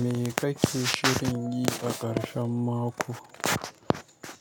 Me kake shirin yi a ƙarshen mako,